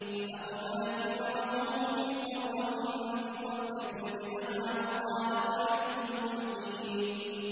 فَأَقْبَلَتِ امْرَأَتُهُ فِي صَرَّةٍ فَصَكَّتْ وَجْهَهَا وَقَالَتْ عَجُوزٌ عَقِيمٌ